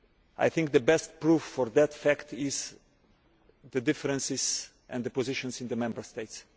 I think the best proof for that fact is the differences in the positions in the Member States